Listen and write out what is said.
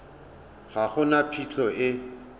ga go na phitlho e